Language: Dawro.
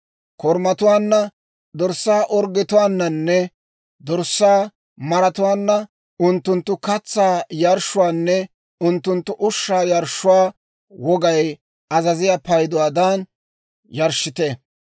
Korumatuwaanna, dorssaa orggetuwaananne dorssaa maratuwaanna, unttunttu katsaa yarshshuwaanne unttunttu ushshaa yarshshuwaa wogay azaziyaa payduwaadan yarshshite.